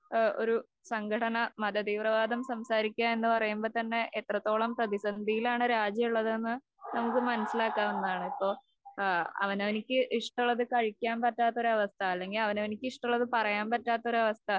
ഏഹ് ഒരു സംഘടന മതതീവ്രവാദം സംസാരിക്കുക എന്ന് പറയുമ്പോ തന്നെ എത്രത്തോളം പ്രതിസന്ധിയിലാണ് രാജ്യം ഉള്ളതെന്ന് നമുക്ക് മനസിലാക്കാവുന്നതാണ്. ഇപ്പൊ ഏഹ് അവനവനിക്ക് ഇഷ്ടമുള്ളത് കഴിക്കാൻ പറ്റാത്ത ഒരവസ്ഥ അല്ലെങ്കിൽ അവനവനിക്ക് ഇഷ്ടമുള്ളത് പറയാൻ പറ്റാത്തൊരവസ്ഥ